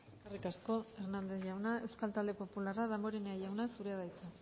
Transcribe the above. eskerrik asko hernández jauna euskal talde popularra damborenea jauna zurea da hitza